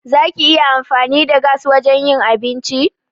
Za ki iya amfani da gas wajen yin abinci?